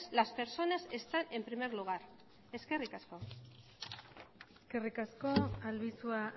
las personas están en primer lugar eskerrik asko eskerrik asko albizua